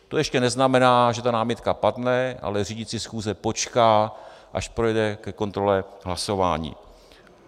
To ještě neznamená, že ta námitka padne, ale řídící schůze počká, až dojde ke kontrole hlasování.